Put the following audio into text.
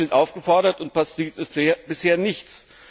aus. Sie sind zum Handeln aufgefordert, und passiert ist bisher nichts.